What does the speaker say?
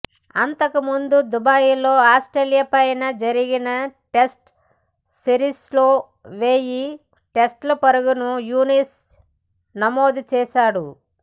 అంతకుముందు దుబాయిలో ఆస్ట్రేలియాపై జరిగిన టెస్టు సిరిస్లో వెయ్యి టెస్టు పరుగులను యూనిస్ నమోదు చేశాడు